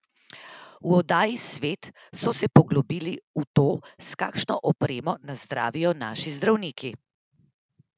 V oddaji Svet so se poglobili v to, s kakšno opremo nas zdravijo naši zdravniki.